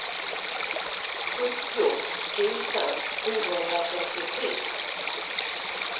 sjuttio tusen sjuhundratrettiotre